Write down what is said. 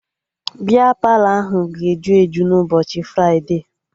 Bịa Palọ ahụ ga-eju eju n'ụbọchị fride